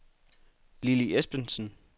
Lilly Espensen